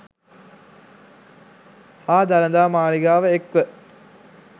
හා දළදා මාලිගාව එක්ව